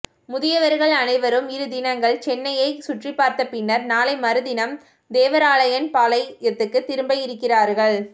முதியவர்கள் அனைவரும் இரு தினங்கள் சென்னையை சுற்றிபார்த்த பின்னர் நாளை மறுநாள் தேவராயன்பாளையத்துக்கு திரும்ப இருக்கிறார்கள்